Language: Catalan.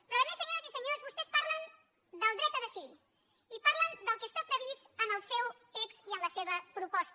però a més senyores i senyors vostès parlen del dret a decidir i parlen del que està previst en el seu text i en la seva proposta